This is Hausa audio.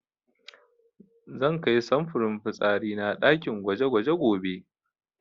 Zan kai samfurin fitsari na ɗakin gwaje-gwaje gobe.